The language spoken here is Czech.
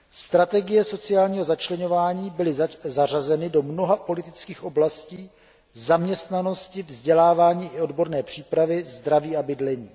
strategie sociálního začleňování byly zařazeny do mnoha politických oblastí zaměstnanosti, vzdělávání a odborné přípravy, zdraví a bydlení.